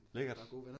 Lækkert